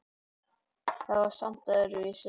Þetta var samt öðruvísi.